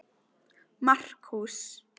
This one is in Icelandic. Markús